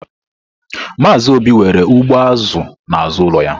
Maazị Obi nwere ugbo azụ n'azụ ụlọ ya.